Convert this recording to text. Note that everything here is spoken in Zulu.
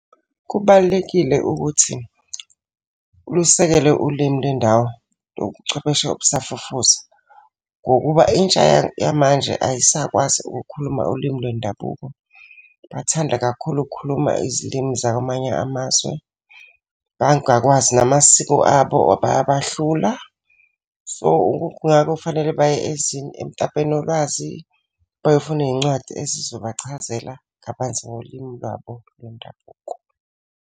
Kubalulekile ukuthi ulusekele ulimi lwendawo kobuchwepheshe obusafufusa. Ngokuba intsha yamanje ayisakwazi ukukhuluma ulimi lwendabuko. Bathanda kakhulu ukukhuluma izilimi zakwamanye amazwe. Bangakwazi namasiko abo bayabahlula. So, kungakho fanele baye emtapweni wolwazi bayofuna iy'ncwadi ezizobachazela kabanzi ngolimi lwabo lwendabuko.